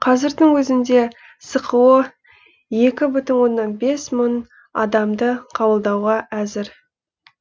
қазірдің өзінде сқо екі бүтін оннан бес мың адамды қабылдауға әзір